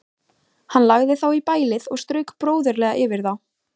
Hann lagði þá í bælið og strauk bróðurlega yfir þá.